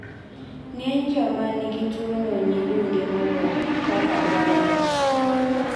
ng'eny joma nigituono nyidunde moloyo kaka dwarore